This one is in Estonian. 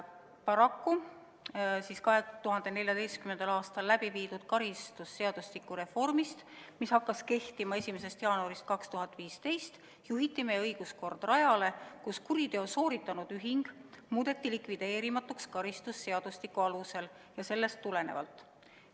Paraku juhiti meie õiguskord 2014. aastal läbi viidud karistusseadustiku reformiga, mis hakkas kehtima 1. jaanuaril 2015, rajale, kus kuriteo sooritanud ühing on muudetud likvideerimatuks karistusseadustiku alusel ja sellest tulenevalt.